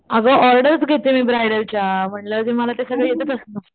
आग ऑर्डर्स घेते मी ब्राइडल्स च्या म्हंटल्या वर ते मला ते सगळं येतच असणार